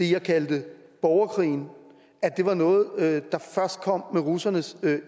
jeg kaldte borgerkrigen var noget der først kom med russernes